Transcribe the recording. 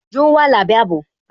Yóò wà lábé àbò